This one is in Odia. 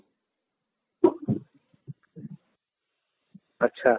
ଆଚ୍ଛା